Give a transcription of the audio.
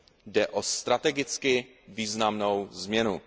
Jde o strategicky významnou změnu.